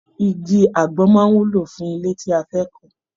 Igi àgbọn máa wúlò fún ilé tí a fẹ́ kàn